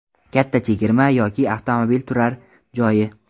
Katta chegirma yoki avtomobil turar joyi?